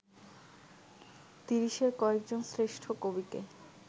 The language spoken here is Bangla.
তিরিশের কয়েকজন শ্রেষ্ঠ কবিকে